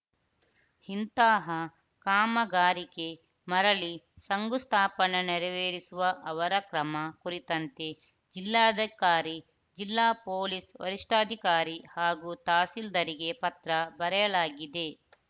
ಇಂತಹ ಕಾಮಗಾರಿಕೆ ಮರಳಿ ಶಂಗುಸ್ಥಾಪನೆ ನೆರವೇರಿಸುವ ಅವರ ಕ್ರಮ ಕುರಿತಂತೆ ಜಿಲ್ಲಾಧಿಕಾರಿ ಜಿಲ್ಲಾ ಪೊಲೀಸ್‌ ವರಿಷ್ಠಾಧಿಕಾರಿ ಹಾಗೂ ತಹಸೀಲ್ದಾರ್‌ಗೆ ಪತ್ರ ಬರೆಯಲಾಗಿದೆ